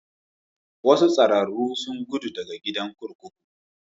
Wasu tsararru sun gudu daga gidan kurkuku.